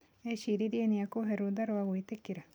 Eciririe niekubee rutha rwa gwitĩkĩra.